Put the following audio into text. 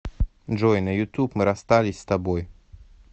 джой на ютуб мы расстались с тобой